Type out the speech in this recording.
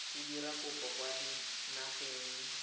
o dira kopo kwa dinageng